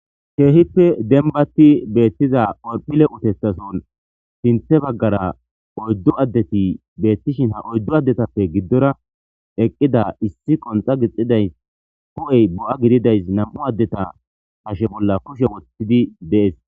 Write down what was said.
Keehippe dembati bessiya horphile utethason sinththe baggara oydu addeti beetishin ha oydu addetappe giddora eqqida issi qonxa gixxidaysi hu'ey bo'a gididaysi nam'u addeta hashe bolla kushe woththidi de'ees.